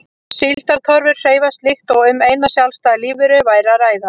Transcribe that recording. Síldartorfur hreyfast líkt og um eina sjálfstæða lífveru væri að ræða.